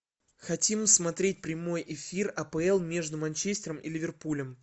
хотим смотреть прямой эфир апл между манчестером и ливерпулем